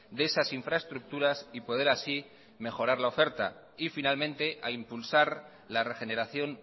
de esas infraestructuras y poder así mejorar la oferta y finalmente a impulsar la regeneración